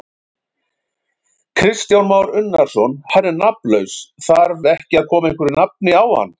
Kristján Már Unnarsson: Hann er nafnlaus, þar ekki að koma einhverju nafni á hann?